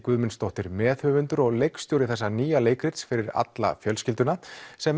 Guðmundsdóttir meðhöfundur og leikstjóri þessa nýja leikrits fyrir alla fjölskylduna sem